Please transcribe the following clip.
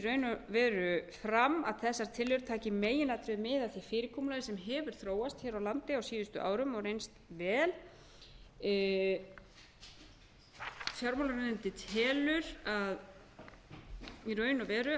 og veru fram að þessar tillögur taki í meginatriðum mið af því fyrirkomulagi sem hefur þróast hér á landi á síðustu árum og reynst vel fjármálaráðuneytið telur í raun og veru